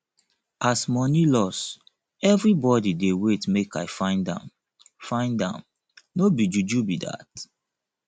as money loss everybodi dey wait make i find am find am no be juju be dat